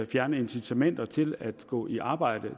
fjerne incitamenter til at gå i arbejde